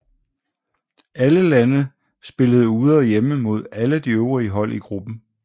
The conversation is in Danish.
Alle lande spillede ude og hjemme mod alle de øvrige hold i gruppen